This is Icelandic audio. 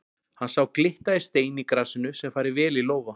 Hann sá glitta í stein í grasinu sem færi vel í lófa.